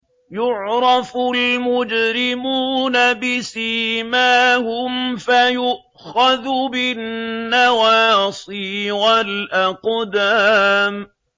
يُعْرَفُ الْمُجْرِمُونَ بِسِيمَاهُمْ فَيُؤْخَذُ بِالنَّوَاصِي وَالْأَقْدَامِ